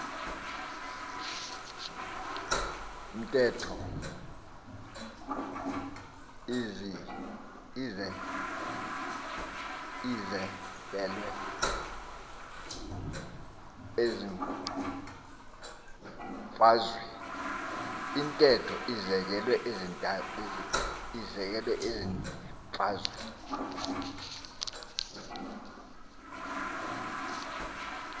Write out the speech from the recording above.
ntetho izekelwe ezimfazweni